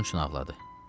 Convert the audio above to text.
Onun üçün ağladı.